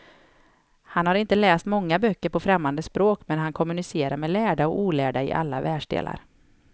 Han har inte läst många böcker på främmande språk, men han kommunicerar med lärda och olärda i alla världsdelar.